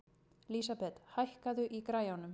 Lísabet, hækkaðu í græjunum.